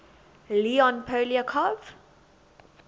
leon poliakov